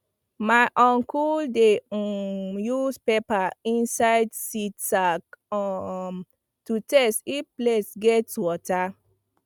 my uncle dey um use paper inside seed sack um to test if place gets water